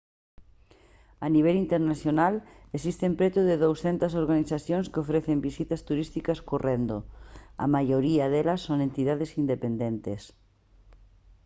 a nivel internacional existen preto de 200 organizacións que ofrecen visitas turísticas correndo a maioría delas son entidades independentes